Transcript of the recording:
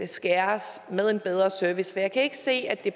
skæres med en bedre service jeg kan ikke se at det